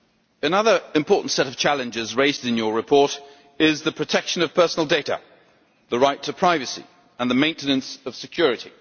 Another important set of challenges raised in your report concerns the protection of personal data, the right to privacy, and the maintenance of security.